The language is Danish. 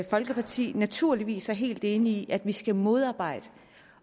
folkeparti naturligvis er helt enige i at vi skal modarbejde